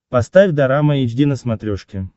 поставь дорама эйч ди на смотрешке